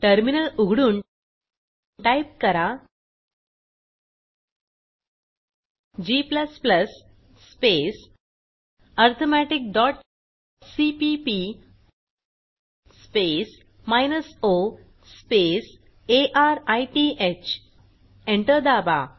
terminal उघडून type करा g space arithmetic dot CPP space minus O space arith enter दाबा